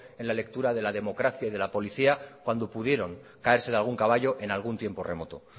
en la lectura de la democracia y de la policía cuando pudieron caerse de algún caballo en algún tiempo remoto